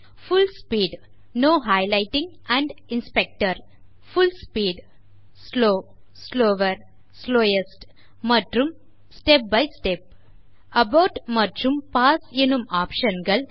புல் speed full speed slow slower slowest மற்றும் step by step abort மற்றும் pause எனும் options